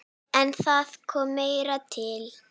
En það kom meira til.